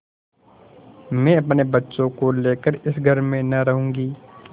मैं अपने बच्चों को लेकर इस घर में न रहूँगी